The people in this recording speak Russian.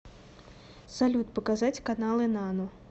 салют показать каналы нано